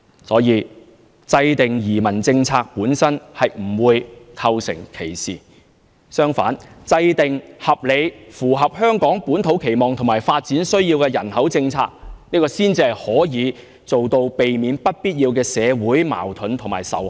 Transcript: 所以，制訂移民政策本身並不會構成歧視，相反，制訂合理、符合香港本土期望和發展需要的人口政策，這才能避免出現不必要的社會矛盾和仇恨。